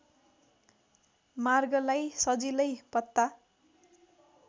मार्गलाई सजिलै पत्ता